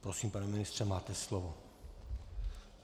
Prosím, pane ministře, máte slovo.